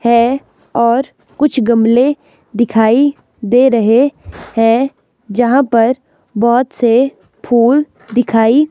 है और कुछ गमले दिखाई दे रहे हैं जहां पर बहोत से फूल दिखाई --